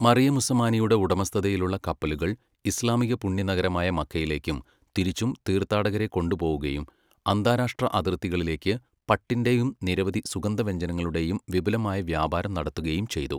മറിയമുസ്സമാനിയുടെ ഉടമസ്ഥതയിലുള്ള കപ്പലുകൾ ഇസ്ലാമിക പുണ്യനഗരമായ മക്കയിലേക്കും തിരിച്ചും തീർഥാടകരെ കൊണ്ടുപോകുകയും അന്താരാഷ്ട്ര അതിർത്തികളിലേക്ക് പട്ടിന്റെയും നിരവധി സുഗന്ധവ്യഞ്ജനങ്ങളുടെയും വിപുലമായ വ്യാപാരം നടത്തുകയും ചെയ്തു.